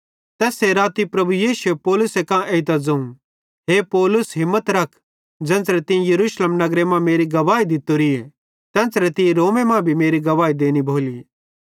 तैस्से राती प्रभु यीशुए पौलुसे कां एइतां ज़ोवं हे पौलुस हिम्मत रख ज़ेन्च़रे तीं यरूशलेम नगरे मां मेरी गवाही दित्तोरीए तेन्च़रे तीं रोमे मां भी गवाही देनी भोली